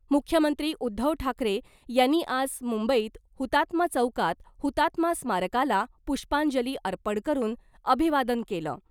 मुख्यमंत्री उध्दव ठाकरे यांनी आज मुंबईत हुतात्मा चौकात हुतात्मा स्मारकाला पुष्पांजली अर्पण करून अभिवादन केलं .